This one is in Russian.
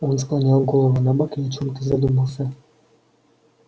он склонил голову набок и о чем-то задумался